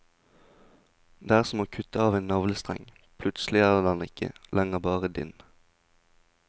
Det er som å kutte av en navlestreng, plutselig er den ikke lenger bare din.